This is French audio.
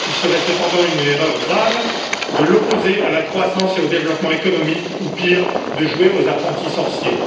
Ce serait cependant une erreur grave de l'opposer à la croissance et au développement économique ou, pire, de jouer aux apprentis sorciers.